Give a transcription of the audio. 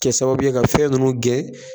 Nɛ sababu ye ka fɛn ninnu gɛn